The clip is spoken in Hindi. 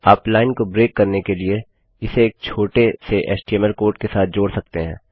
आप लाइन को ब्रेक करने के लिए इसे एक छोटे से एचटीएमएल कोड के साथ जोड़ सकते हैं